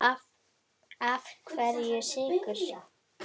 Af hverju Sykur?